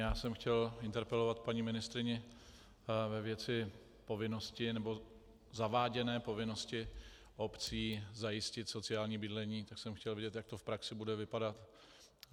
Já jsem chtěl interpelovat paní ministryni ve věci povinnosti, nebo zaváděné povinnosti obcí zajistit sociální bydlení, tak jsem chtěl vědět, jak to v praxi bude vypadat.